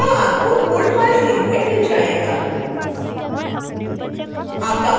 लोगो आपको code files link में मिल जाएगा